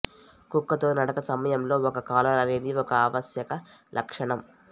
కుక్కతో నడక సమయంలో ఒక కాలర్ అనేది ఒక ఆవశ్యక లక్షణం